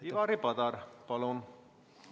Ivari Padar, palun!